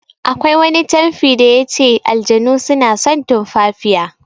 Akwai wani canfi da yace "Aljanu suna son tumfafiya".